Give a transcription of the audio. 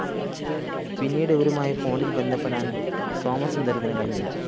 പിന്നീട്‌ ഇവരുമായി ഫോണില്‍ ബന്ധപ്പെടാന്‍ സോമസുന്ദരത്തിന്‌ കഴിഞ്ഞില്ല